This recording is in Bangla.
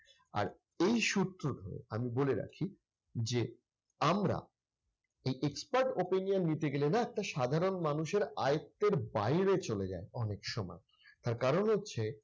আর এই সূত্র ধরে আমি বলে রাখি যে, আমরা এই expert opinion নিতে গেলে না একটা সাধারণ মানুষের আয়ত্তের বাইরে চলে যায় অনেক সময়। তার কারণ হচ্ছে